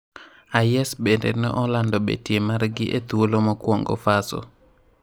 IS bemde ne olando betie margi e thuolo mokuongo Fasso.